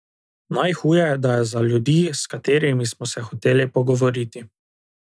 Najhuje da je za ljudi, s katerimi smo se hoteli pogovoriti.